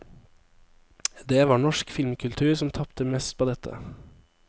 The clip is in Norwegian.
Det var norsk filmkultur som tapte mest på dette.